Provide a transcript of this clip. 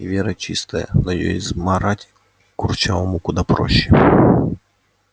и вера чистая но её измарать курчавому куда проще